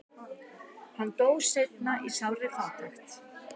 hann dó seinna í sárri fátækt